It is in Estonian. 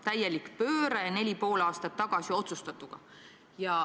Täielik pööre võrreldes neli ja pool aastat tagasi otsustatuga.